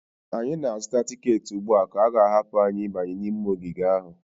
anyị na-azụta tiketi ugbu a ka a ga-ahapụ anyị ịbanye n'ime ogige ahụ